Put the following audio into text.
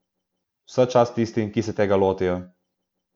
Vsa čast tistim, ki se tega lotijo.